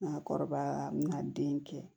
Nka kɔrɔbaya n bɛna den kɛ